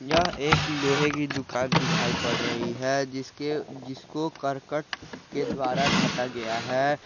यह एक लोहे की दुकान दिखाई पड़ रही है जिसके जिसको करकट के द्वारा ढका गया है।